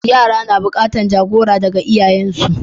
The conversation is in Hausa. Yara na buƙatan jagora daga iyayensu.